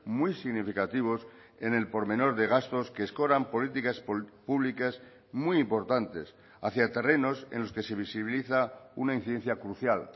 muy significativos en el pormenor de gastos que escoran políticas públicas muy importantes hacia terrenos en los que se visibiliza una incidencia crucial